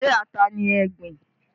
Ṣé ata ni ẹ gbìn?